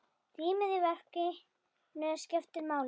Rýmið í verkinu skiptir máli.